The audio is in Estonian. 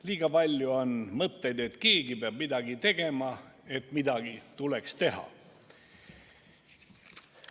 Liiga palju on mõtteid, et keegi peab midagi tegema ja et midagi tuleks teha.